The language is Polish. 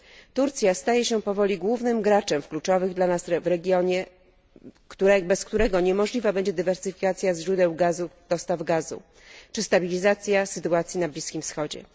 Turcja staje się powoli głównym graczem w kluczowym dla nas regionie, bez którego niemożliwa będzie dywersyfikacja źródeł gazu, dostaw gazu czy stabilizacja sytuacji na Bliskim Wschodzie.